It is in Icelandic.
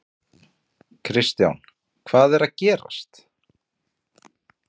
Kristján: Hvað er að gerast?